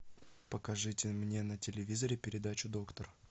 покажите мне на телевизоре передачу доктор